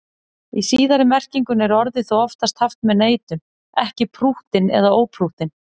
Í síðari merkingunni er orðið þó oftast haft með neitun, ekki prúttinn eða óprúttinn.